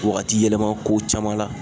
Wagati yɛlɛma ko caman na.